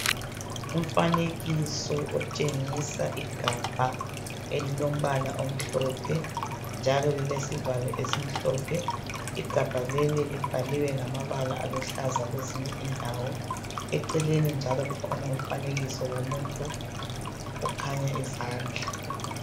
Umfanekiso otshengisa igabha elilombala omhlophe njalo lilesivalo esimhlophe. Igabha leli libhaliwe ngamabala aluhlaza kwezinye indawo eceleni njalo kukhona umfanekiso womuntu okhanya izandla